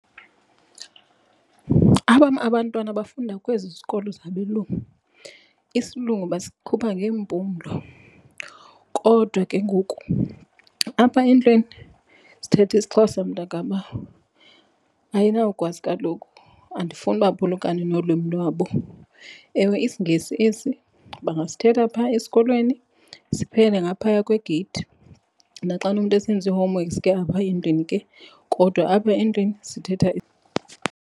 Abam abantwana bafunda kwezi zikolo zabelungu. IsiLungu basikhupha ngeempumlo kodwa ke ngoku apha endlwini sithetha isiXhosa mntakabawo. Ayinawukwazi kaloku. Andifuni baphulukane nolwimi lwabo. Ewe, isiNgesi esi bangasithetha phaa esikolweni, siphelele ngaphaya kwegeyithi. Naxana umntu esenza ii-homeworks ke apha endlwini ke kodwa apha endlwini sithetha.